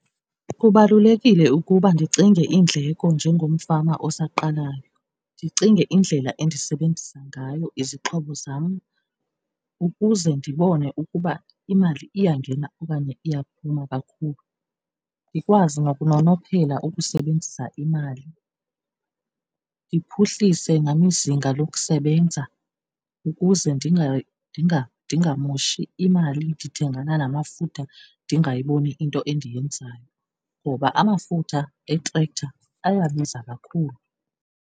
Kubalulekile ukuba ndicinge iindleko njengomfama osaqalayo, ndicinge indlela endisebenzisa ngayo izixhobo zam ukuze ndibone ukuba imali iyangena okanye iyaphuma kakhulu. Ndikwazi nokunonophela ukusebenzisa imali, ndiphuhlise nam izinga lokusebenza ukuze ndingamoshi imali, ndithengana namafutha ndingayiboni into endiyenzayo, ngoba amafutha etrekhtha ayabiza kakhulu.